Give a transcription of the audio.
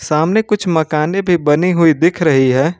सामने कुछ मकाने भी बनी हुई दिख रही है।